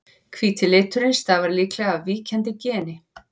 hvíti liturinn stafar líklega af víkjandi geni